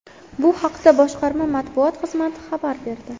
Bu haqda boshqarma matbuot xizmati xabar berdi.